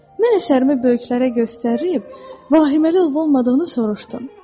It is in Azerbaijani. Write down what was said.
Mən əsərimi böyüklərə göstərib, vahiməli olub olmadığını soruşdum.